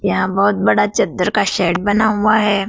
यहां बहुत बड़ा चद्दर का शेड बना हुआ है।